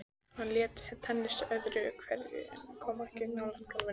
Hann lék tennis öðru hverju en kom ekki nálægt golfi.